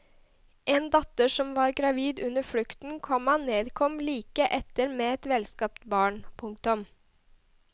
En datter som var gravid under flukten, komma nedkom like etter med et velskapt barn. punktum